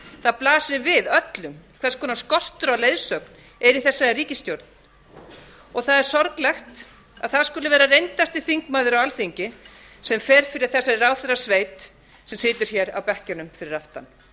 það blasir við öllum hvers konar skortur á leiðsögn er í þessari ríkisstjórn og það er sorglegt að það skuli vera reyndasti þingmaður á alþingi sem fer fyrir þessari ráðherrasveit sem situr hér á bekkjunum fyrir aftan